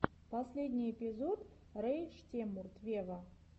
последний эпизод рэй шреммурд вево